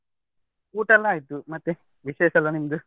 ಊಟ ಎಲ್ಲಾ ಆಯ್ತು, ಮತ್ತೆ ವಿಶೇಷ ಎಲ್ಲಾ ನಿಮ್ದು?